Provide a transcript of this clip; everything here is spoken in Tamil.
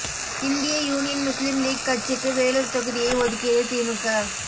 இந்திய யூனியன் முஸ்லீம் லீக் கட்சிக்கு வேலூர் தொகுதியை ஒதுக்கியது திமுக